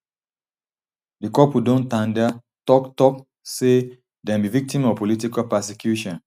di couple don tanda tok tok say dem be victims of political persecution